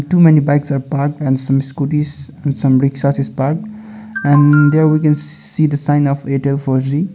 so many bikes are parked and some scootys and some rickshaws is parked and there we can see the sign of airtel four g.